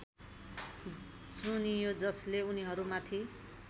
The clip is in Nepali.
चुनियो जसले उनीहरूमाथि